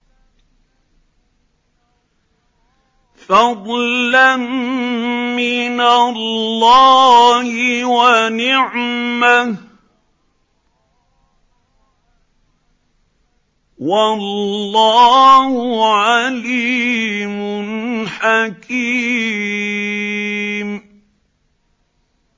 فَضْلًا مِّنَ اللَّهِ وَنِعْمَةً ۚ وَاللَّهُ عَلِيمٌ حَكِيمٌ